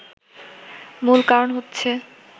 মূল কারণ হচ্ছে